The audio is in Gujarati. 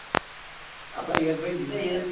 આપડા યશ ભાઈ